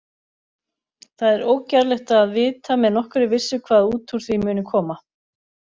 Það er ógerlegt að vita með nokkurri vissu hvað út úr því muni koma.